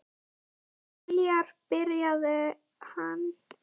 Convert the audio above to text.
Heljar, byrjaði hann.